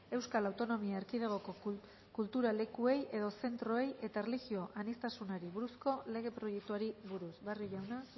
euskal autonomia erkidegoko kultulekuei edo zentroei eta erlijio aniztasunari buruzko lege proiektuari buruz barrio jauna